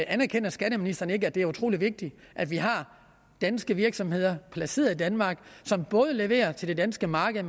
anerkender skatteministeren ikke at det er utrolig vigtigt at vi har danske virksomheder placeret i danmark som både leverer til det danske marked og